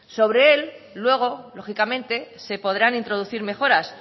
sobre él luego lógicamente se podrán introducir mejoras